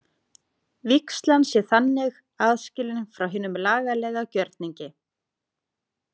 Vígslan sé þannig aðskilin frá hinum lagalega gjörningi.